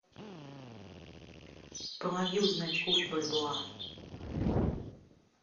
помоги узнать курс бальбоа